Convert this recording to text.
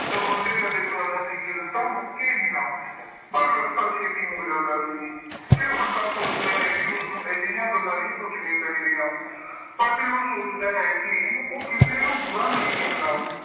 ਤਾਂ ਬੰਤੇ ਦਾ ਦਿਲ ਕਰਦਾ ਸੀ ਕਿ ਰਸਤਾ ਮੁੱਕੇ ਹੀ ਨਾ। ਪਰ ਰਸਤਾ ਛੇਤੀ ਮੁੱਕ ਜਾਂਦਾ ਸੀ। ਫਿਰ ਬੰਤਾ ਸੋਚਦਾ ਹੈ ਕਿ ਉਸਨੂੰ ਅਜਿਹੀਆਂ ਗੱਲਾਂ ਨਹੀਂ ਸੋਚਣੀਆਂ ਚਾਹੀਦੀਆਂ। but ਉਹ ਸੋਚਦਾ ਹੈ ਕਿ ਉਹ ਕਿਸੇ ਨੂੰ ਬੁਰਾ ਨਹੀਂ ਕਹੇਗਾ।